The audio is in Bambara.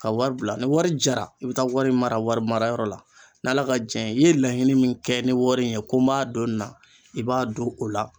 Ka wari bila ni wari jara i bɛ taa wari mara wari marayɔrɔ la. N'Ala ka jɛn ye i ye laɲini min kɛ ni wari in ye ko n b'a don nin na, i b'a don o la.